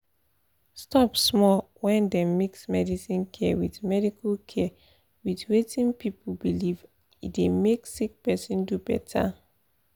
stop small — when dem mix medical care with medical care with wetin people believe e dey make sick person do better.